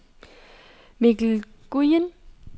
Mikkel Nguyen